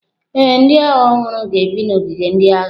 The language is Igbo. Ee, ndị agha ọhụrụ ga-ebi n’ogige ndị agha.